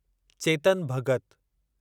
Chetan Bhagat